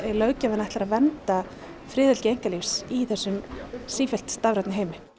löggjafinn ætlar að vernda friðhelgi einkalífsins í þessum sífellt stafrænni heimi